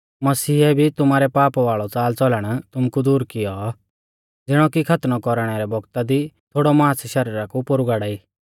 मसीहै भी तुमारै पाप वाल़ौ च़ालच़लण तुमु कु दूर कियौ ज़िणौ की खतनौ कौरणै रै बौगता दी थोड़ौ मांस शरीरा कु पोरु गाड़ाई